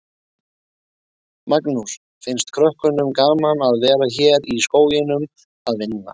Magnús: Finnst krökkunum gaman að vera hérna í skóginum að vinna?